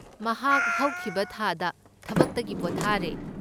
ꯃꯍꯥꯛ ꯍꯧꯈꯤꯕ ꯊꯥꯗ ꯊꯕꯛꯇꯒꯤ ꯄꯣꯊꯥꯔꯦ꯫